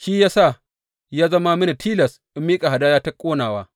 Shi ya sa ya zama mini tilas in miƙa hadaya ta ƙonawa.